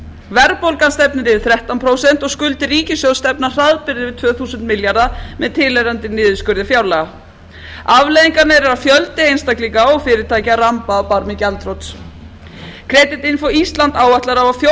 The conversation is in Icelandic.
verðbólgan stefnir í yfir þrettán prósent og skuldir ríkissjóðs stefna hraðbyri í tvö þúsund milljarða með tilheyrandi niðurskurði fjárlaga afleiðingarnar eru að fjöldi einstaklinga og fyrirtækja ramba á barmi gjaldþrots creditinfo island áætlar að á fjórða þúsund